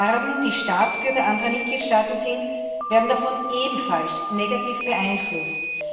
Erben, die Staatsbürger anderer Mitgliedstaaten sind, werden davon ebenfalls negativ beeinflusst.